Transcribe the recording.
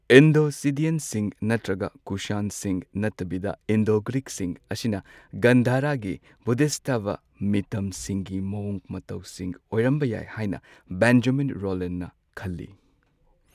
Indo ꯁꯤꯗꯤꯌꯟꯁꯤꯡ ꯅꯠꯇ꯭ꯔꯒ ꯀꯨꯁꯥꯟꯁꯤꯡ ꯅꯠꯇꯕꯤꯗ ꯏꯟꯗꯣ ꯒ꯭ꯔꯤꯛꯁꯤꯡ ꯑꯁꯤꯅ ꯒꯟꯙꯥꯔꯥꯒꯤ ꯕꯣꯙꯤꯁꯠꯇꯕ ꯃꯤꯇꯝꯁꯤꯡꯒꯤ ꯃꯋꯣꯡ ꯃꯇꯧꯁꯤꯡ ꯑꯣꯏꯔꯝꯕ ꯌꯥꯏ ꯍꯥꯏꯅ ꯕꯦꯟꯖꯥꯃꯤꯟ ꯔꯣꯂꯥꯟꯅ ꯈꯜꯂꯤ꯫